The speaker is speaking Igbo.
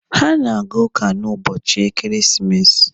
Ha na-aga ụka n'ụbọchị ekeresimesi.